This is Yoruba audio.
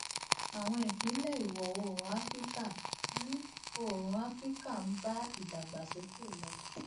àwọn ìpínlẹ ìwò oòrùn áfíríkà ń oòrùn áfíríkà ń bá ìdàgbàsókè lọ